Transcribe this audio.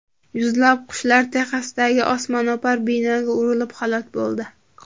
Yuzlab qushlar Texasdagi osmono‘par binoga urilib halok bo‘ldi.